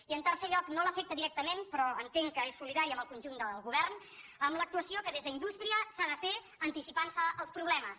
i en tercer lloc no l’afecta directament però entenc que és solidària amb el conjunt del govern amb l’actuació que des d’indústria s’ha de fer anticipant·se als problemes